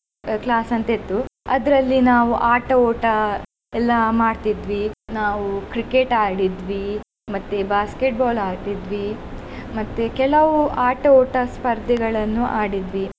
ಆ class ಅಂತ ಇತ್ತು ಅದರಲ್ಲಿ ನಾವು ಆಟ ಓಟ ಎಲ್ಲಾ ಮಾಡ್ತಿದ್ವಿ ನಾವು Cricket ಆಡಿದ್ವಿ ಮತ್ತೆ Basket ball ಆಡಿದ್ವಿ ಮತ್ತೆ ಕೆಲವು ಆಟೋಟ ಸ್ಪರ್ದೆಗಳನ್ನು ಆಡಿದ್ವಿ.